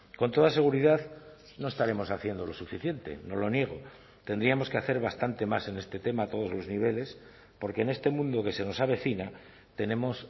con toda seguridad no estaremos haciendo lo suficiente no lo niego tendríamos que hacer bastante más en este tema a todos los niveles porque en este mundo que se nos avecina tenemos